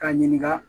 K'a ɲininka